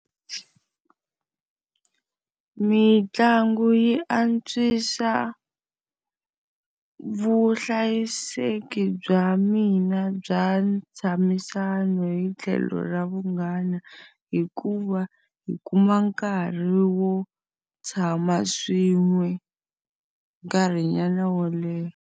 Mitlangu yi antswisa vuhlayiseki bya mina bya ntshamisano hi tlhelo ra vunghana, hikuva hi kuma nkarhi wo tshama swin'we nkarhinyana wo leha.